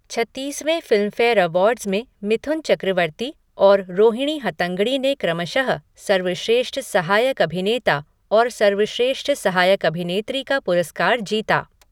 छत्तीसवें Filmfare awards में मिथुन चक्रवर्ती और रोहिणी हट्टंगडी ने क्रमशः सर्वश्रेष्ठ सहायक अभिनेता और सर्वश्रेष्ठ सहायक अभिनेत्री का पुरस्कार जीता।